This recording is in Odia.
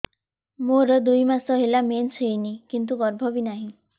ମୋର ଦୁଇ ମାସ ହେଲା ମେନ୍ସ ହେଇନି କିନ୍ତୁ ଗର୍ଭ ବି ନାହିଁ